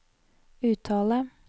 uttale